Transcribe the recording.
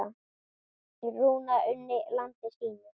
Rúna unni landi sínu.